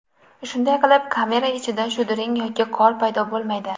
Shunday qilib, kamera ichida shudring yoki qor paydo bo‘lmaydi.